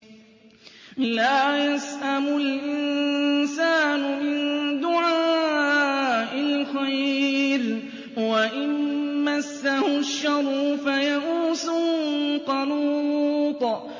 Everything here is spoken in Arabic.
لَّا يَسْأَمُ الْإِنسَانُ مِن دُعَاءِ الْخَيْرِ وَإِن مَّسَّهُ الشَّرُّ فَيَئُوسٌ قَنُوطٌ